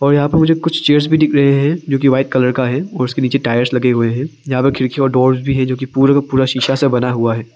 और यहां पे मुझे कुछ चेयर्स भी दिख रहे हैं जो की वाइट कलर का है उसके नीचे टायर्स लगे हुए हैं यहां पे खिड़की और डोर भी है जो कि पूरे का पूरा शीशा से बना हुआ है।